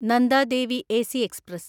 Nanda Devi AC express